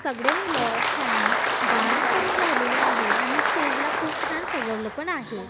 सगडे मुलं छान डान्स करून राहिलेले आहे आणि स्टेज ला खूप छान सजवलं पण आहे.